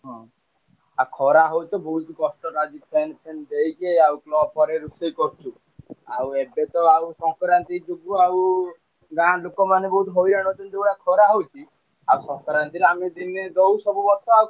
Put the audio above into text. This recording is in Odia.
ଆଉ ଖରା ହଉଛି ବହୁତ କଷ୍ଟ ଲାଗୁଛି fan fan ଦେଇକି ଆଉ ରେ ରୋଷେଇ କରୁଛୁ। ଆଉ ଏବେତ ଆଉ ସଂକ୍ରାନ୍ତି ଯୋଗୁ ଆଉ ଗାଁ ଲୋକମାନେ ବହୁତ ହଇରାଣ ହଉଛନ୍ତି ଯୋଉଭଳିଆ ଖରା ହଉଛି ଆଉ ସଂକ୍ରାନ୍ତିରେ ଆମେ ଦିନେ ଦଉ ସବୁ ବର୍ଷ ଆଉ,